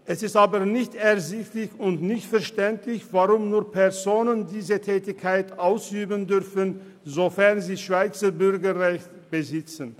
Es ist jedoch nicht ersichtlich und nicht verständlich, weshalb nur Personen diese Tätigkeit ausüben dürfen, welche über das Schweizer Bürgerrecht verfügen.